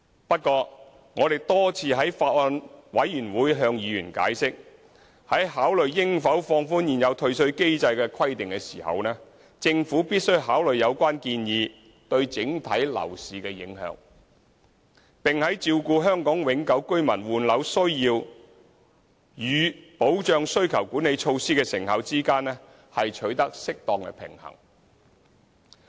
不過，我們多次在法案委員會向委員解釋，在考慮應否放寬現有退稅機制的規定時，政府必須考慮有關建議對整體樓市的影響，並在照顧香港永久性居民換樓需要與保障需求管理措施的成效之間取得適當平衡。